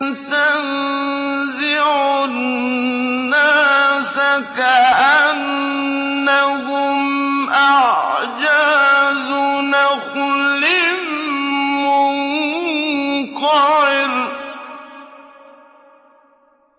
تَنزِعُ النَّاسَ كَأَنَّهُمْ أَعْجَازُ نَخْلٍ مُّنقَعِرٍ